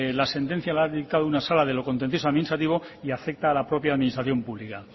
la sentencia la ha dictado una sala de lo contencioso administrativo y afecta a la propia administración pública